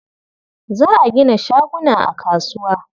Za a gina shaguna a kasuwa.